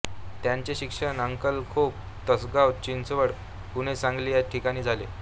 त्यांचे शिक्षण अंकलखोप तासगांव चिंचवड पुणे सांगली या ठिकाणी झाला